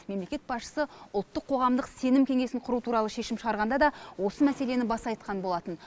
мемлекет басшысы ұлттық қоғамдық сенім кеңесін құру туралы шешім шығарғанда да осы мәселені баса айтқан болатын